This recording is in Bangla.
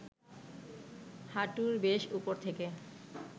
হাঁটুর বেশ উপর থেকে